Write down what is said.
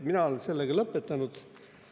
Mina olen sellega lõpetanud.